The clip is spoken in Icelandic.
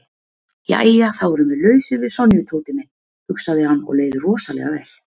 Jæja þá erum við lausir við Sonju, Tóti minn, hugsaði hann og leið rosalega vel.